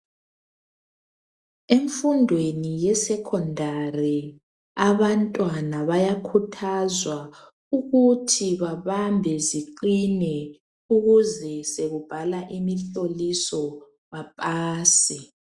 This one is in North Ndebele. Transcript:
Emfundweni yesekendari abantwana bayakhuthazwa ukuthi babambe ziqine ukuze sekubhalwa imihloliso baphase.